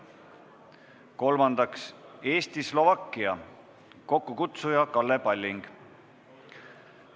Kolmandaks, Eesti-Slovakkia parlamendirühm, kokkukutsuja on Kalle Palling.